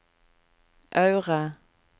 Aure